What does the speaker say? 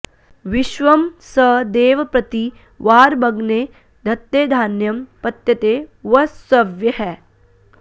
विश्वं स देव प्रति वारमग्ने धत्ते धान्यं पत्यते वसव्यैः